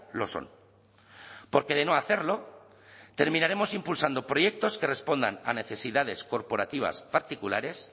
lo son porque de no hacerlo terminaremos impulsando proyectos que respondan a necesidades corporativas particulares